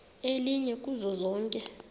elinye kuzo zonke